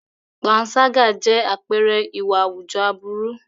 Panṣágà jẹ́ àpẹẹrẹ ìwà àwùjọ aburú.